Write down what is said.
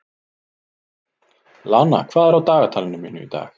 Lana, hvað er á dagatalinu mínu í dag?